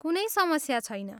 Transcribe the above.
कुनै समस्या छैन।